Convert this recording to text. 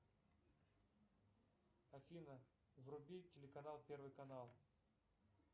афина вруби телеканал первый канал